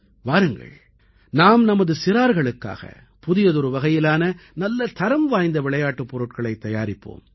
வாருங்கள் நாம் நமது சிறார்களுக்காக புதியதொரு வகையிலான நல்ல தரம் வாய்ந்த விளையாட்டுப் பொருட்களைத் தயாரிப்போம்